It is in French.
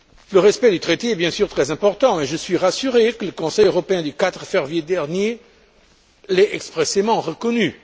Le respect du traité est bien sûr très important et je suis rassuré que le Conseil européen du 4 février dernier l'ait expressément reconnu.